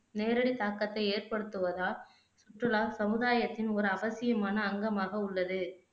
நேரடி தாக்கத்தை ஏற்படுத்துவதால் சுற்றுலா சமுதாயத்தின் ஒரு அவசியமான அங்கமாக உள்ளது